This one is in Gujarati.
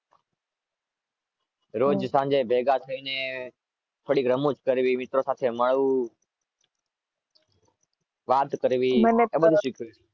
રોજ સાંજે ભેગા થઈને